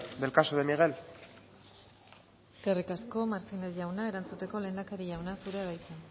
del caso de miguel eskerrik asko martínez jauna erantzuteko lehendakari jauna zurea da hitza